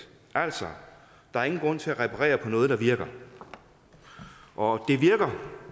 altså der er ingen grund til at reparere på noget der virker og det virker